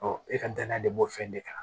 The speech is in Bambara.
e ka danaya de b'o fɛn de kan